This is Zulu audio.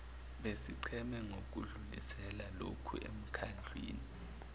besigceme nokudlulisela lokhuemkhandlwini